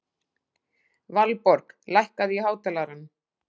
Valborg, lækkaðu í hátalaranum.